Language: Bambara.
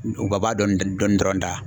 dɔɔni dɔrɔn da.